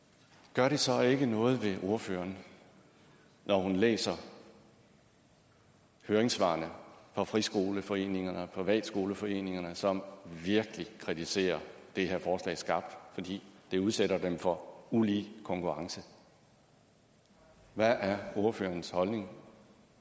gør det så ikke noget ved ordføreren når hun læser høringssvarene fra friskoleforeningerne og privatskoleforeningerne som virkelig kritiserer det her forslag skarpt fordi det udsætter dem for ulige konkurrence hvad er ordførerens holdning